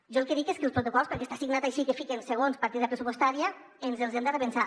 jo el que dic és que els protocols perquè està signat així que fiquen segons partida pres·supostària ens els hem de repensar